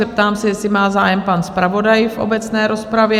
Zeptám se, jestli má zájem pan zpravodaj v obecné rozpravě?